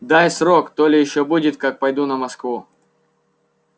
дай срок то ли ещё будет как пойду на москву